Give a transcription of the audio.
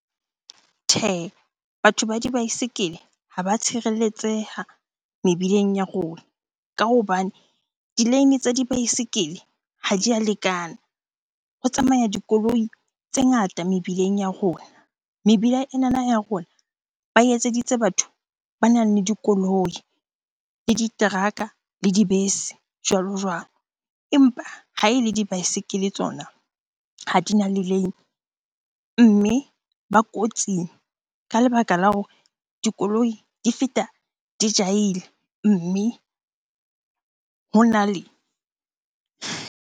Tjhehe, batho ba dibaesekele ha ba tshireletseha mebileng ya rona ka hobane di-lane tsa dibaesekele ha di a lekana. Ho tsamaya dikoloi tse ngata mebileng ya rona. Mebila enana ya rona ba e etseditse batho banang le dikoloi, le diteraka le dibese jwalo-jwalo. Empa ha ele dibaesekele tsona ha di na di-lane mme ba kotsing ka lebaka la hore dikoloi di feta di jahile mme hona le .